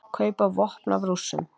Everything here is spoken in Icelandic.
Kaupa vopn af Rússum